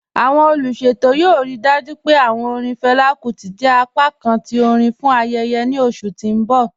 Awọn oluṣetọ yoo rii dájú pé awọn orin Fela Kuti jẹ apákàn ti orin fún ayẹyẹ ni oṣù ti n bọ̀